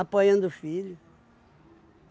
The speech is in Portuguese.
apoiando o filho.